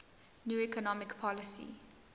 new economic policy